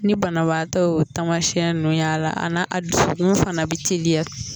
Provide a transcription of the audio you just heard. Ni banabaatɔ y'o taamasiyɛn ninnu y'a la, a n'a a dusukun fana bɛ teliya.